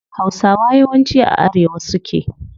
Hausawa yawanci a arewa suke